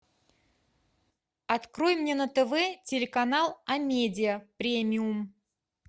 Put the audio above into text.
открой мне на тв телеканал амедиа премиум